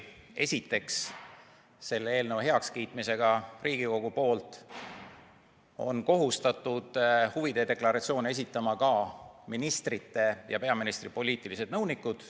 Esiteks, selle eelnõu heakskiitmisel Riigikogu poolt on kohustatud huvide deklaratsioone esitama ka ministrite ja peaministri poliitilised nõunikud.